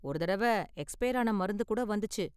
ஒரு தடவ எக்ஸ்பையர் ஆன மருந்து கூட வந்துச்சு.